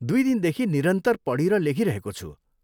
दुइ दिनदेखि निरन्तर पढि र लेखिरहेको छु।